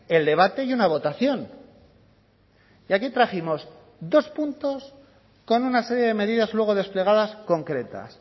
el debate y una votación y aquí trajimos dos puntos con una serie de medidas luego desplegadas concretas